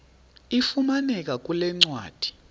ifumaneka kule ncwadi